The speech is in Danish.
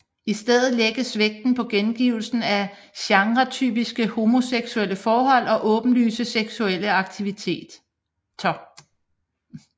I stedet lægges vægten på gengivelsen af genretypiske homoseksuelle forhold og åbenlyse seksuelle aktiviteter